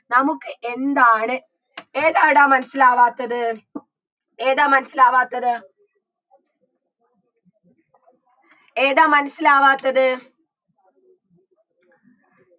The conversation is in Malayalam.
നമുക്ക് എന്താണ് ഏതാടാ മനസിലാവാത്തത് ഏതാ മനസിലാവാത്തത് ഏതാ മനസിലാവാത്തത്